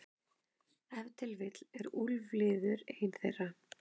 Ef til vill er úlfliður ein þeirra.